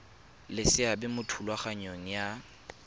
le seabe mo thulaganyong ya